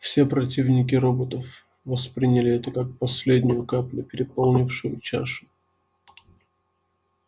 все противники роботов восприняли это как последнюю каплю переполнившую чашу